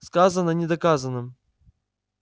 сказано не доказано